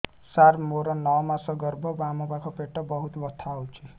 ସାର ମୋର ନଅ ମାସ ଗର୍ଭ ବାମପାଖ ପେଟ ବହୁତ ବଥା ହଉଚି